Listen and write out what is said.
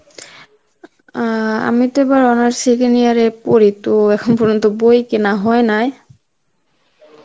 অ্যাঁ আমি তো এবার honors second year এ পড়ি, তো এখন পর্যন্ত বই কেনা হয় নাই.